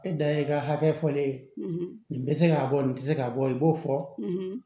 E da ye i ka hakɛ fɔlen ye nin bɛ se k'a bɔ nin tɛ se k'a bɔ i b'o fɔ